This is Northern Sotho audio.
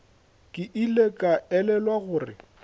ke ile ka elelwa gore